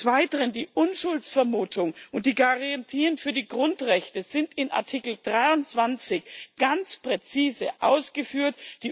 Des Weiteren Die Unschuldsvermutung und die Garantien für die Grundrechte sind in Artikel 23 ganz präzise ausgeführt.